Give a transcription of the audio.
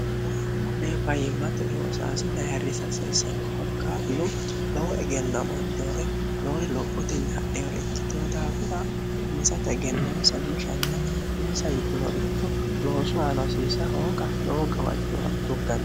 kure fayyimmate loosaasilaharrisi hasiisanno korkaatnu lowo egenno amaaddehore lowori lophotenni hadhehore ikkitiho daafira hinsata egenno nsammishann insa yittinoricho loosu aano hasiisa hooga lowo gawajjoora utugganno